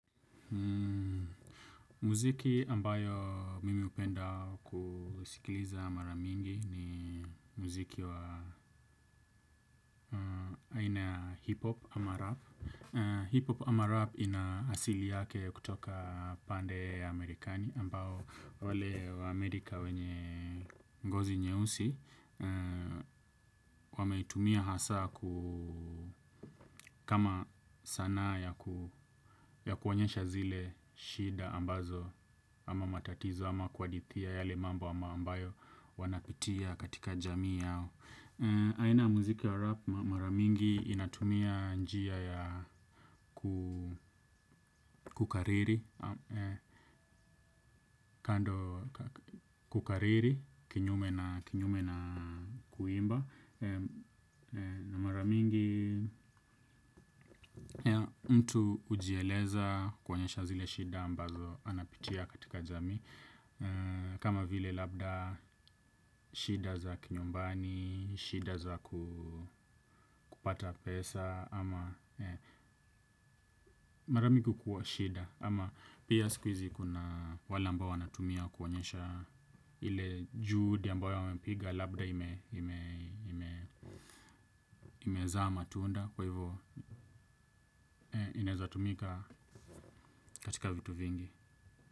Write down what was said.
Muziki ambayo mimi hupenda kusikiliza mara mingi ni muziki wa aina ya hip-hop ama rap. Hip-hop ama rap ina asili yake kutoka pande ya Amerikani ambao wale wa Amerika wenye ngozi nyeusi. Wameitumia hasa kama sanaa ya kuonyesha zile shida ambazo ama matatizo ama kuhadithia yale mambo ama ambayo wanapitia katika jamii yao. Aina ya muziki ya rap mara mingi inatumia njia ya kukariri. Kando kukariri kinyume na kuimba. Na mara mingi mtu hujieleza kuonyesha zile shida ambazo anapitia katika jamii. Kama vile labda shida za kinyumbani, shida za kupata pesa. Ama mara mingi kukua shida. Ama pia sikuhizi kuna wale ambao wanatumia kuwaonyesha ile juhudi ambayo wamepiga labda ime imezaa matunda kwa hivyo inaezatumika katika vitu vingi.